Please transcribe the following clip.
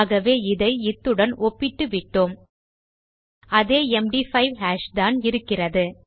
ஆகவே இதை இத்துடன் ஒப்பிட்டு விட்டோம் அதே எம்டி5 ஹாஷ் தான் இருக்கிறது